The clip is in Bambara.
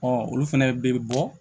olu fɛnɛ bɛ bɔ